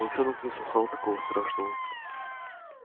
волчонок не слыхал такого страшного